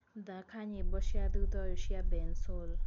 thaka nyĩmbo cĩa thũtha ũyũ cĩa bensoul